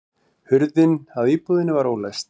Hurðin að íbúðinni var ólæst